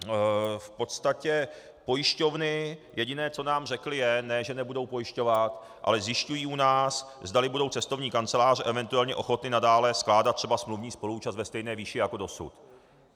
V podstatě pojišťovny jediné, co nám řekly, je, ne že nebudou pojišťovat, ale zjišťují u nás, zdali budou cestovní kanceláře eventuálně ochotny nadále skládat třeba smluvní spoluúčast ve stejné výši jako dosud.